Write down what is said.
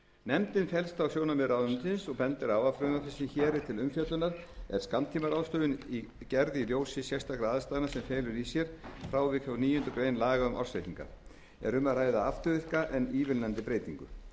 sem hér er til umfjöllunar er skammtímaráðstöfun gerð í ljósi sérstakra aðstæðna sem felur í sér frávik frá níunda grein laga um ársreikninga er um að ræða afturvirka en ívilnandi breytingu